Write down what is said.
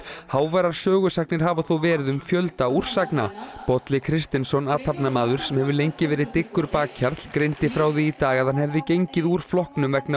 háværar sögusagnir hafa þó verið um fjölda úrsagna Bolli Kristinsson athafnamaður sem hefur lengi verið dyggur bakhjarl greindi frá því í dag að hann hefði gengið úr flokknum vegna